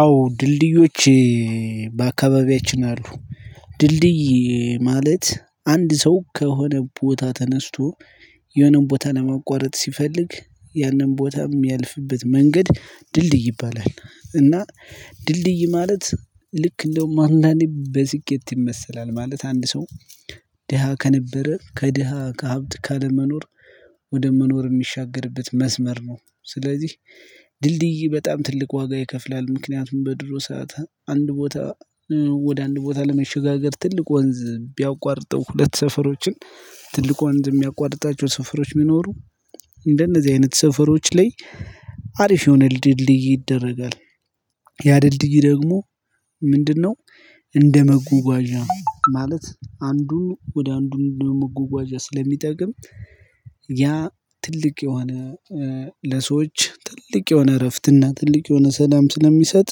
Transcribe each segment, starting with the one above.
አዎ ድልድዮች በአካባቢያችን አሉ። ድልድይ ማለት አንድ ሰው ከሆነ ቦታ ተነስቶ የሆነውን ቦታ ለማቋረጥ ሲፈልግ ያንን ቦታም ያልፍበት መንገድ ድልድይ ይባላል። እና ድልድይ ማለት ልክ እንደውም አንዳንዴ በስኬት ይመሰላል ማለት አንድ ሰው ደሃ ከነበረ ከደሃ ከሀብት ካለመኖር ወደ መኖር የሚሻገርበት መስመር ነው። ስለዚህ ድልድይ በጣም ትልቅ ዋጋ ይከፍላል ምክንያቱም በድሮ ሰዓት አንድ ቦታ ወደ አንድ ቦታ ለመሸጋገር ትልቅ ወንዝ ቢያቋርጥው ሁለት ሰፈሮችን ትልቅ ትልቅ የሚያቋርጣቸው ሰፈሮች መኖሩ እንደነዚህ አይነት ሰፈሮች ላይ አሪፍ የሆነ ድልድይ ይደረጋል። ያ ድልድይ ደግሞ ምንድነው? እንደመጓጓዣ ማለት አንዱ ወደ አንዱ እንደመጓጓዣ ስለሚጠቅም ያ ትልቅ የሆነ ለሰዎች ትልቅ የሆነ እረፍት እና ትልቅ የሆነ ሰላም ስለሚሰጥ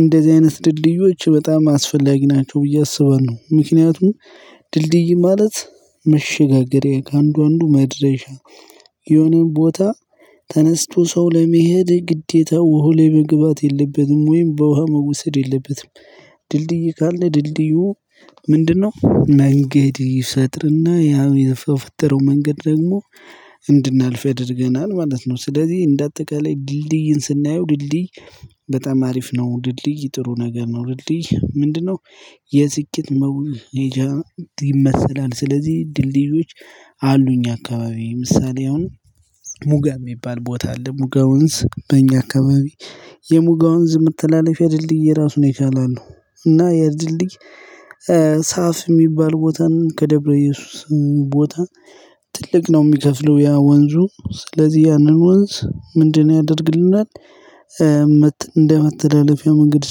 እንደዚህ አይነት ድልድዮች በጣም አስፈላጊ ናቸው። ብዬ አስባለሁ ነው ምክንያቱም ድልድይ ማለት መሸጋገሬ ከአንዱ አንዱ መድረሻ የሆነን ቦታ ተነስቶ ሰው ለመሄድ ግዴታ ውሃ ላይ መግባት የለበትም ወይም በውሃ መውሰድ የለበትም። ድልድይ ካለ ድልድዩ ምንድነው? መንገድ ይፈጥር ናእ ያው የፈጠረው መንገድ ደግሞ እንድናልፍ ያደርገናል ማለት ነው። ስለዚህ እንደ አጠቃላይ ድልድይን ስናየው ድልድይ በጣም አሪፍ ነው። ድልድይ ጥሩ ነገር ነው። ድልድይ ምንድነው? የስኬት መውል መውለጃ ይመሰላል ስለዚህ ድልድይዮች አሉኝ አካባቢ ምሳሌ አሁን ሙጋ የሚባል ቦታ አለ ሙጋ ወንዝ በእኛ አካባቢ የሙጋ ወንዝ መተላለፊያ ድልድይ ራሱን ይቻላል። እና ያድልድይ ሳፍ የሚባል ቦታን ከደብረ እየሱስ ቦታ ትልቅ ነው የሚከፍለው ያ ወንዙ ስለዚህ ያንን ወንዝ ምንድነው ያደርግልናል። እንደ መተላለፊያ መንገድ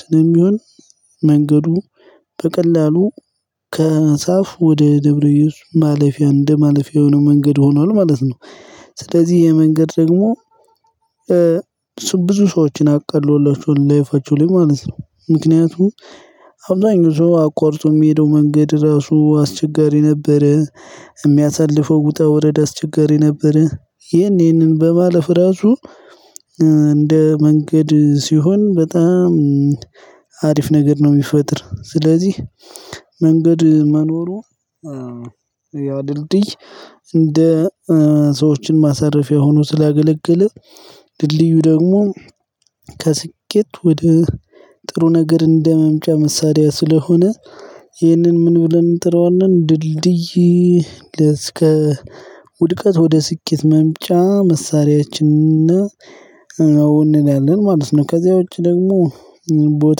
ስለሚሆን መንገዱ በቀላሉ ከንሳፍ ወደ ደብረ ኢየሱ ማለፊያ እንደ ማለፊያ የሆነ መንገድ ሆኗል ማለት ነው። ስለዚህ ይሄ መንገድ ደግሞ ብዙ ሰዎችን አቃሎላቸዋል ላይፋቸው ላይ ማለት ነው። ምክንያቱም አብዛኛው ሰው አቋርጦ የሚሄደው መንገድ ራሱ አስቸጋሪ ነበረ። የሚያሳልፈው ውጣ ውረድ አስቸጋሪ ነበረ። ይሄንን በማለፍ ራሱ እንደ መንገድ ሲሆን በጣም አሪፍ ነገር ነው። የሚፈጥር ስለዚህ መንገድ መኖሩ ያ ድልድይ እንደ ሰዎችን ማሳረፊያ ሆኖ ስላገለገለ ድልድዩ ደግሞ ከስኬት ወደ ጥሩ ነገር እንደመምጫ መሳደያ ስለሆነ ይህንን ምን ብለን እንጥረዋለን ድልድይ ለእስከ ውድቀት ወደ ስኬት መምጫ መሳሪያችንና ነው እንላለን ማለት ነው። ከዚያ ደግሞ ቦተ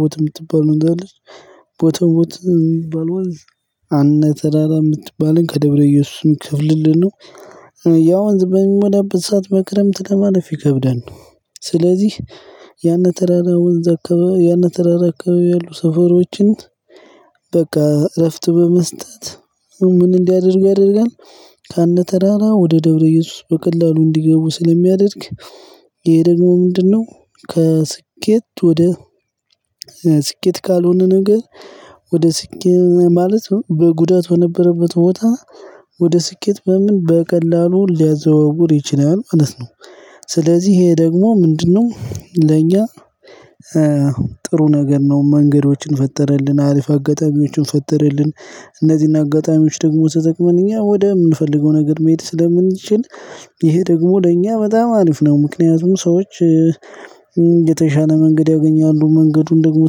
ቦት የምትባለው እንዳለች ቦተ ቦት የምትባለው አነ ተራራ የምትባለን ከደብረ እየሱስም ክፍልል ነው። የ ወንዝ በሚሞላበት ሰዓት በክረምት ከማለፍ ይከብዳል። ስለዚህ ያንን ተራራ ወንዝ አካባቢ ያንን ተራራ አከባቢ ያሉ ሰፈሮችን በቃ እረፍት በመስጠት ምን እንዲያደርግ ያደርጋል። ከነ ተራራ ወደ ደብረ እየሱስ በቀላሉ እንዲገቡ ስለሚያደርግ ይሄ ደግሞ ምንድነው? ከስኬት ወደ ስኬት ካልሆነ ነገር ወደ ስኬት ማለት በጉዳት በነበረበት ቦታ ወደ ስኬት በምን በቀላሉ ሊያዘዋውር ይችላል ማለት ነው። ስለዚህ ይሄ ደግሞ ምንድነው? ለእኛ ጥሩ ነገር ነው። መንገዶችን ፈጠረልን አሪፍ አጋጣሚዎችን ፈጠረልን እነዚህን አጋጣሚዎች ደግሞ ተጠቅመን እኛ ወደ ምንፈልገው ነገር መሄድ ስለምንችል ይሄ ደግሞ ለእኛ በጣም አሪፍ ነው። ምክንያቱም ሰዎች የተሻለ መንገድ ያገኛሉ። መንገዱን ደግሞ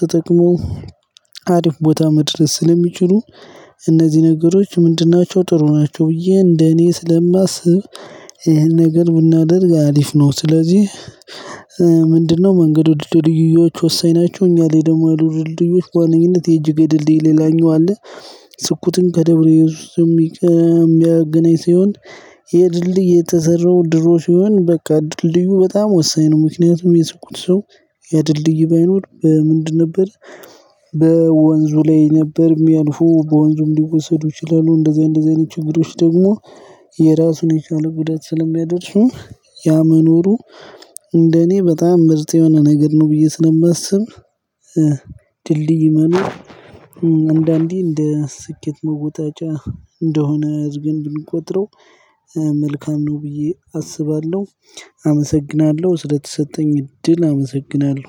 ተጠቅሞ አሪፍ ቦታ መድረስ ስለሚችሉ እነዚህ ነገሮች ምንድን ናቸው ጥሩ ናቸው። ብዬ እንደኔ ስለማስብ ይሄን ነገር ብናደርግ አሪፍ ነው። ስለዚህ ምንድነው መንገዱ ወደ ድልድዮች ወሰዳቸው እኛ ላይ ደግሞ ወደ ድልድዩ በዋነኝነት የጅግ የድልድይ ሌላኛው አለ። ስኩትን ከደብረ እየሱስ የሚያገናኝ ሲሆን የድልድይ የተዘራው ድሮ ሲሆን በቃ ድልድዩ በጣም ወሳኝ ነው። ምክንያቱም የሰኩት ሰው የድልድዩ ባይኖር በምንድን ነበር። በወንዙ ላይ ነበር የሚያልፉ በወንዙም ሊወሰዱ ይችላሉ። እንደዚህ እንደዚህ አይነት ችግሮች ደግሞ የራሱን የቻለ ጉዳት ስለሚያደርሱ ያ መኖሩ እንደኔ እኔ በጣም ምርጥ የሆነ ነገር ነው። ብዬ ስለማስብ ድልድይ ማኑ አንዳንዴ እንደ ስኬት መወጣጫ እንደሆነ አርገን ብንቆጥረው መልካም ነው ብዬ አስባለሁ። አመሰግናለሁ ስለተሰጠኝ እድል አመሰግናለሁ።